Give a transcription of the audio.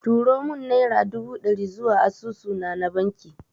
Turo mun naira dubu ɗari zuwa asusu na na banki